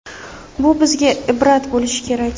Bu bizga ibrat bo‘lishi kerak.